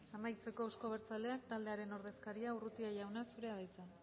amaitzeko euzko abertzaleak taldearen ordezkaria urrutia jauna zurea da hitza